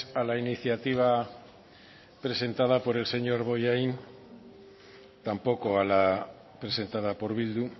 a la iniciativa presentada por el señor bollain tampoco a la presentada por bildu